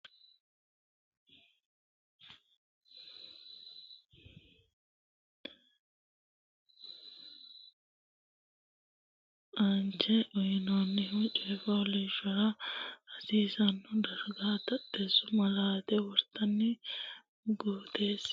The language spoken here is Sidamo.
Bude Taxxeessu Malaate Sa u lamalara borreessate budi giddonni taxxeessu malaate borrote mama horonsi nanniro rossini garinninna aanchine shiqinshoonni lawishshi kaiminni aanchine uynoonni coy fooliishshuwara hasiisanno darga taxxeessu malaate wortine guutisse.